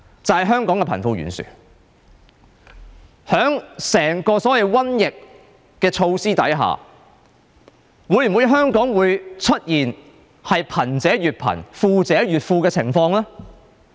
在整個面對所謂"瘟疫"的措施下，香港會否出現貧者越貧、富者越富的情況呢？